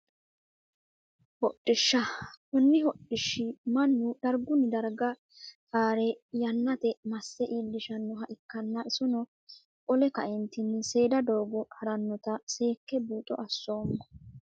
Hodhishsha koni hodhishi mana darguni darga haare yanateni mase iilishanoha ikanna isino qole kaeentini seeda doogo haranota seeke buuxo asomo.